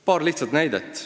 Paar lihtsat näidet.